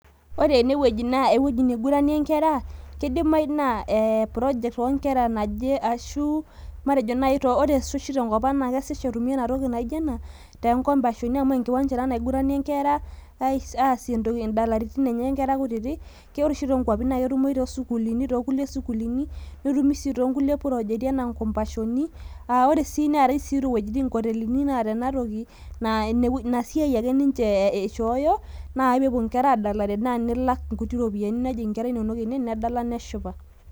Ore enewueji naa, ewueji niguranie nkera, kidimayu naa project onkera naje, ashu matejo nai ore oshi tenkop ang' na kesash etumi entoki naijo ena, tenkompashoni amu enkiwanja ena naiguranie nkera, aasie idalaritin inkera kutitik. Ore oshi tonkwapi, na ketumoyu tosukuulini, tokulie sukuulini, netumi si tonkulie projeti enaa nkompashoni. Ah ore sii neetae iwuejiting nkotelini naata enatoki. Naa inasiai ake ninche ishooyo, naa pepuo nkera adalare naa nilak nkuti ropiyaiani, nejing' inkera inonok ene, nedala neshipa.